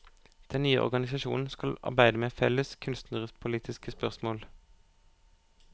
Den nye organisasjonen skal arbeide med felles kunstnerpolitiske spørsmål.